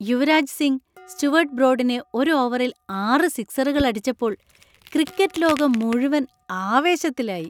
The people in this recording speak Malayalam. യുവരാജ് സിംഗ് സ്റ്റുവർട്ട് ബ്രോഡിനെ ഒരു ഓവറിൽ ആറ് സിക്സറുകൾ അടിച്ചപ്പോൾ ക്രിക്കറ്റ് ലോകം മുഴുവൻ ആവേശത്തിലായി.